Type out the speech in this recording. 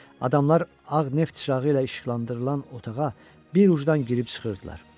Adamlar ağ neft çırağı ilə işıqlandırılan otağa bir ucudan girib çıxırdılar.